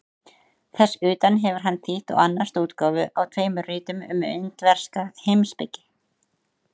Þess utan hefur hann þýtt og annast útgáfu á tveimur ritum um indverska heimspeki.